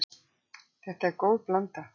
Þetta er góð blanda.